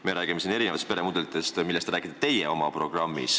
Teie räägite oma programmis erinevatest peremudelitest.